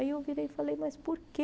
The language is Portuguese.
Aí eu virei e falei, mas por quê?